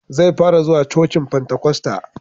Zai fara zuwa cocin fantakosta